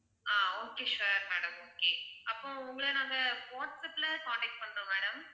ஆஹ் okay sure madam okay அப்போ உங்களை நாங்க வாட்ஸப்ல contact பண்றோம் madam